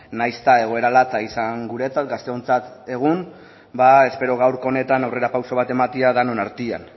nahiz eta egoera latza izan guretzat gazteontzat egun espero gaurko honetan aurrera pausu bat ematea denon artean